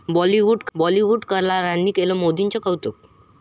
बॉलिवूड कलाकारांनी केलं मोदींचं कौतुक